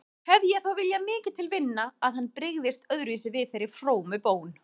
Hefði ég þó viljað mikið til vinna að hann brygðist öðruvísi við þeirri frómu bón.